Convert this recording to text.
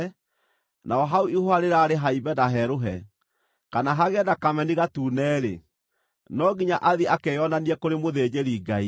naho hau ihũha rĩraarĩ haimbe na herũhe, kana hagĩe na kameni gatune-rĩ, no nginya athiĩ akeyonanie kũrĩ mũthĩnjĩri-Ngai.